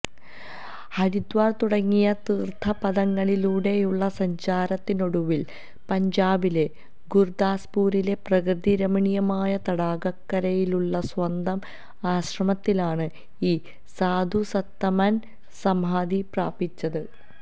ഹരിദ്വാര് തുടങ്ങിയ തീര്ഥപഥങ്ങളിലൂടെയുള്ള സഞ്ചാരത്തിനൊടുവില് പഞ്ചാബിലെ ഗുര്ദാസ്പൂരിലെ പ്രകൃതി രമണീയമായ തടാകക്കരയിലുള്ള സ്വന്തം ആശ്രമത്തിലാണ് ഈ സാധുസത്തമന് സമാധി പ്രാപിച്ചത്